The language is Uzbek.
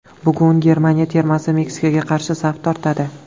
Bugun Germaniya termasi Meksikaga qarshi saf tortadi.